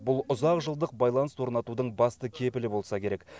бұл ұзақ жылдық байланыс орнатудың басты кепілі болса керек